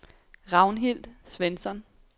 Ragnhild Svensson